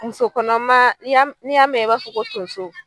Musokɔnɔmaa i y'a m n'i y'a mɛ i b'a fɔ ko tonso